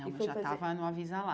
Não, eu já estava no Avisa Lá.